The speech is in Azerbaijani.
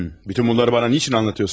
Bütün bunları mənə niçin anlatıyorsunuz?